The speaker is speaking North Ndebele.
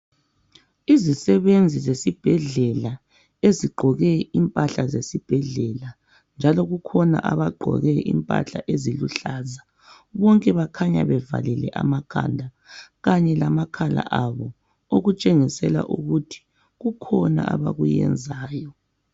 Izisebenzi zesibhedlela ezigqoke impahla zesibhedlela njalo kukhona abagqoke impahla eziluhlaza. Bonke bakhanya bevalile amakhanda kanye lamakhala abo okutshengisela ukuthi kukhona abakuyenzayo.